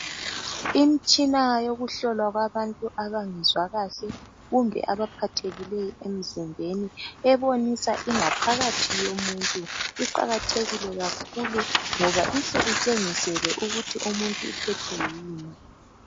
Imtshina yokuhlolwa kwabantu abangezwa kahle kumbe abaphathekileyo emzimbeni ebonisa ingaphakathi yomuntu iqakathekile kakhulu ngoba ihle itshengisele ukuthi umuntu uphethwe yini.